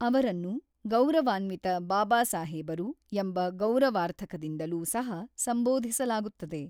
ಅವರನ್ನು ಗೌರವಾನ್ವಿತ ಬಾಬಾಸಾಹೇಬರು ಎಂಬ ಗೌರವಾರ್ಥಕದಿಂದಲೂ ಸಹ ಸಂಬೋಧಿಸಲಾಗುತ್ತದೆ.